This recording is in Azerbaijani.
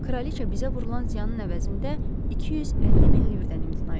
Kraliça bizə vurulan ziyanın əvəzində 250 min livrdən imtina etdi.